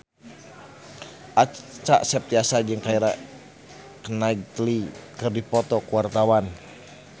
Acha Septriasa jeung Keira Knightley keur dipoto ku wartawan